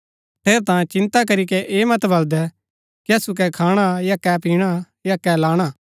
ठेरैतांये चिन्ता करीके ऐह मत बलदै कि असु कै खाणा या कै पिणा या कै लाणा